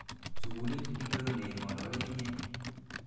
Sukulit ingoro nei ng'olole inye?